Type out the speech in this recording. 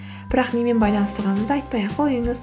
бірақ немен байланыстырғаныңызды айтпай ақ қойыңыз